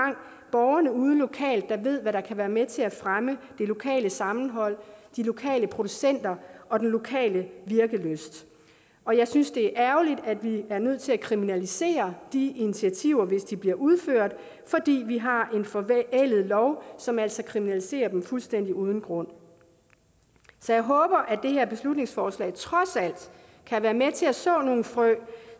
borgerne ude lokalt der ved hvad der kan være med til at fremme det lokale sammenhold de lokale producenter og den lokale virkelyst og jeg synes det er ærgerligt at vi er nødt til at kriminalisere de initiativer hvis de bliver udført fordi vi har en forældet lov som altså kriminaliserer dem fuldstændig uden grund så jeg håber at det her beslutningsforslag trods alt kan være med til at så nogle frø